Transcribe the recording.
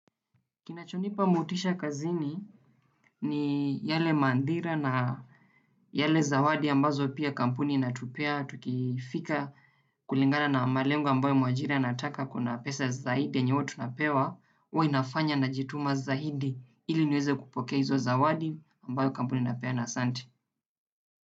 Kinachonipa motisha kazini ni yale maadhira na yale zawadi ambazo pia kampuni inatupea. Tukifika kulingana na malengo ambayo mwajiri anataka kuna pesa zaidi yenye huwa tunapewa. Huwa inafanya najituma zaidi ili niweze kupokea hizo zawadi ambayo kampuni inapeana asante.